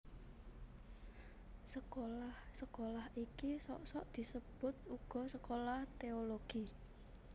Sekolah sekolah iki sok sok disebut uga sekolah teologi